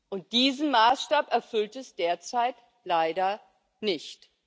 Und diesen Maßstab erfüllt es derzeit leider nicht.